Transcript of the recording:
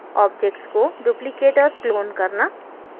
objects को duplicate और clone करना